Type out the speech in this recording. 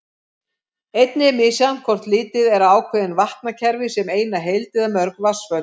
Einnig er misjafnt hvort litið er á ákveðin vatnakerfi sem eina heild eða mörg vatnsföll.